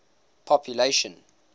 population